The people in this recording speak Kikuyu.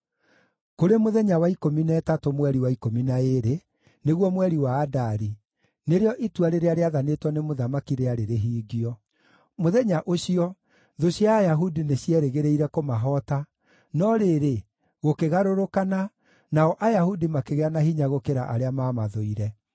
Kũrĩ mũthenya wa ikũmi na ĩtatũ mweri wa ikũmi na ĩĩrĩ, nĩguo mweri wa Adari, nĩrĩo itua rĩrĩa rĩathanĩtwo nĩ mũthamaki, rĩarĩ rĩhingio. Mũthenya ũcio, thũ cia Ayahudi nĩcierĩgĩrĩire kũmahoota, no rĩrĩ, gũkĩgarũrũkana, nao Ayahudi makĩgĩa na hinya gũkĩra arĩa maamathũire.